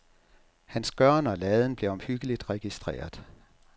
Hans gøren og laden blev omhyggeligt registreret.